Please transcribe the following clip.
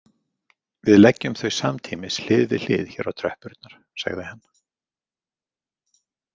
Við leggjum þau samtímis hlið við hlið hér á tröppurnar, sagði hann.